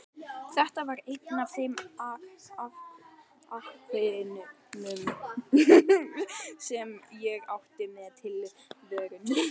Þetta var einn af þeim afkimum sem ég átti mér í tilverunni.